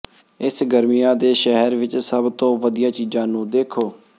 ਇਸ ਗਰਮੀਆਂ ਦੇ ਸ਼ਹਿਰ ਵਿੱਚ ਸਭ ਤੋਂ ਵਧੀਆ ਚੀਜ਼ਾਂ ਨੂੰ ਦੇਖੋ